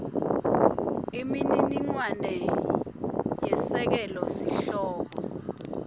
imininingwane yesekela sihloko